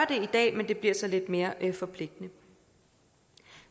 i dag men det bliver så lidt mere forpligtende